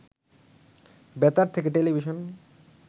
বেতার থেকে টেলিভিশন